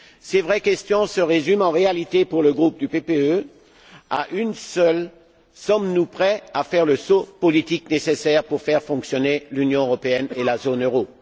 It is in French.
Ces vraies questions se résument, en réalité, pour le groupe du Parti populaire européen à une seule sommes nous prêts à faire le saut politique nécessaire pour faire fonctionner l'Union européenne et la zone euro?